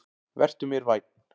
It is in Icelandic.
Vertu mér vænn.